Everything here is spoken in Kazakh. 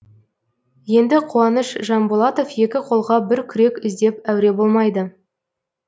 енді қуаныш жанболатов екі қолға бір күрек іздеп әуре болмайды